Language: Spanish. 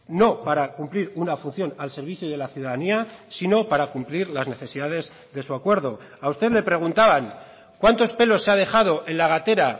no para cumplir una función al servicio de la ciudadanía sino para cumplir las necesidades de su acuerdo a usted le preguntaban cuántos pelos se ha dejado en la gatera